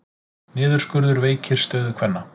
Niðurskurður veikir stöðu kvenna